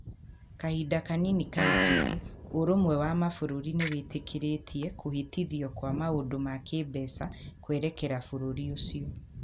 Kahinda kanini kahĩtũku, Ũrũmwe wa Mabũrũri nĩ wĩtĩkĩrĩtie kũhĩtithio kwa maũndũ ma kĩĩmbeca kwerekera bũrũri ũcio.